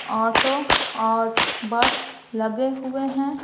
Auto और bus लगे हुए हैं।